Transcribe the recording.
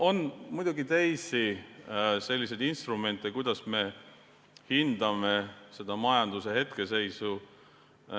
On muidugi teisi instrumente, kuidas me hindame majanduse hetkeseisu.